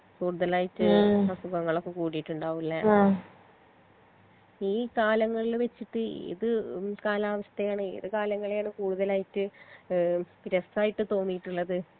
കൂടുതലായിട്ട് അസുഖങ്ങളൊക്കെ കൂടീട്ട് ഇണ്ടാവും ലെ ഈ കാലങ്ങളിൽ വെച്ചിട്ട് ഏത് കാലാവസ്ഥയാണ് ഏത് കാലങ്ങളെയാണ് കൂടുതലായിട്ട് ഏഹ് ഇപ്പൊ രസായിട്ട് തോന്നിട്ട്ള്ളത്